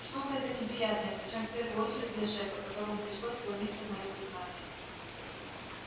штука это неприятная причём в первую очередь для шефа которому пришлось вломиться в моё сознание